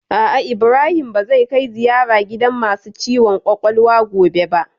A'a, Ibrahim ba zai kai ziyara gidan masu ciwon kwakwalwa gobe ba